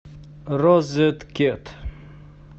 розеткед